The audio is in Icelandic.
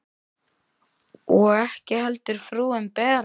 Og ekki heldur frúin Bera.